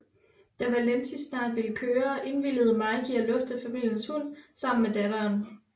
Da Valentis snart ville køre indvilligede Mike i at lufte familiens hund sammen med datteren